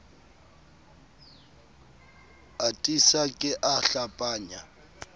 a tiisa ke a hlapanya